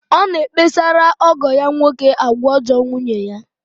Ọ na-ekpesara ọgọ ya nwoke agwa ọjọọ nwunye.